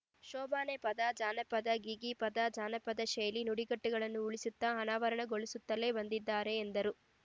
ಶೋಬಾನೆ ಪದ ಜಾನಪದ ಗೀಗೀ ಪದ ಜಾನಪದ ಶೈಲಿ ನುಡಿಗಟ್ಟುಗಳನ್ನು ಉಳಿಸುತ್ತ ಅನಾವರಣಗೊಳಿಸುತ್ತಲೇ ಬಂದಿದ್ದಾರೆ ಎಂದರು